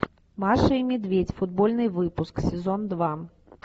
маша и медведь футбольный выпуск сезон два